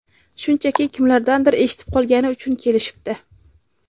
Shunchaki, kimlardandir eshitib qolgani uchun kelishibdi.